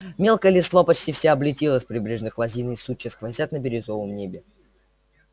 мелкая листва почти вся облетела с прибрежных лозин и сучья сквозят на бирюзовом небе